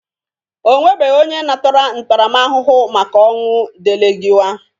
Onwebeghi onye natara ntaramahụhụ maka ọnwụ Delegịwa.